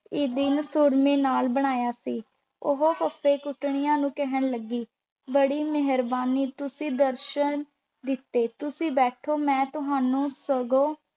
ਦਿਨ ਸੁਰਮੇ ਨਾਲ ਬਣਾਇਆ ਸੀ ਉਹ ਫੱਫੇ-ਕੁੱਟਣੀਆਂ ਨੂੰ ਕਹਿਣ ਲੱਗੀ, ਬੜੀ ਮਿਹਰਬਾਨੀ, ਤੁਸੀਂ ਦਰਸ਼ਨ ਦਿੱਤੇ ਤੁਸੀਂ ਬੈਠੋ, ਮੈਂ ਤੁਹਾਨੂੰ ਸਗੋਂ